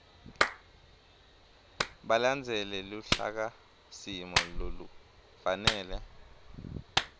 balandzele luhlakasimo lolufanele